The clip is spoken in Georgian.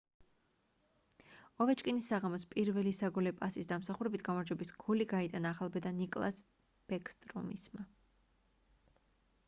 ოვეჩკინის საღამოს პირველი საგოლე პასის დამსახურებით გამარჯვების გოლი გაიტანა ახალბედა ნიკლას ბეკსტრომისმა